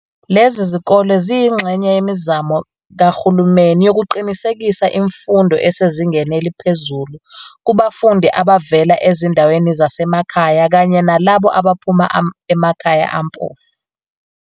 Lezi zikole ziyingxenye yemizamo kaHulumeni yokuqinisekisa imfundo esezingeni eliphezulu kubafundi abavela ezindaweni zasemakhaya kanye nalabo abaphuma emakhaya ampofu.